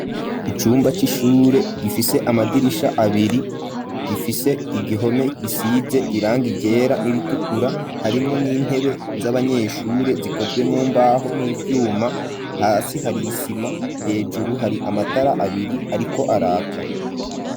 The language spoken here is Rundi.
Icumba c'ishure gifise amadirisha abiri gifise igihome gisize iranga ryera n'ibitukura harimo n'intebe z'abanyeshure zikozwe mumbaho n'ivyuma hasi hari isima hejuru hari amatara abiri ariko araka.